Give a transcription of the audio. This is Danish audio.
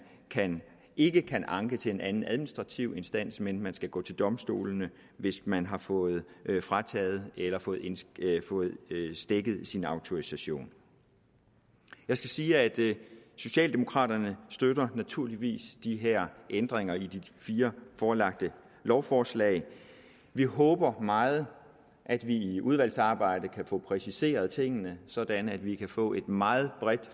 ikke kan anke til en anden administrativ instans men man skal gå til domstolene hvis man har fået frataget eller fået stækket sin autorisation jeg skal sige at socialdemokraterne naturligvis støtter de her ændringer i de fire forelagte lovforslag vi håber meget at vi i udvalgsarbejdet kan få præciseret tingene sådan at vi kan få et meget bredt